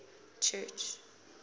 church